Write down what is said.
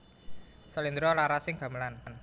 Slendra larasing gamelan